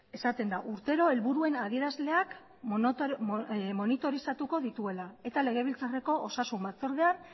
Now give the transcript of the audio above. esaten da urtero helburuen adierazleak monitorizatuko dituela eta legebiltzarreko osasun batzordeak